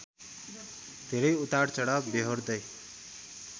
धेरै उतारचढाव बेहोर्दै